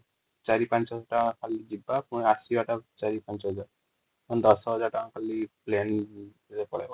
୪, ୫୦୦୦ ଯିବା ପୁଣି ଆସିବା ୪,୫୦୦୦ ମାନେ ୧୦୦୦୦ ଖାଲି ପ୍ଲେନ ପଳେଇବା |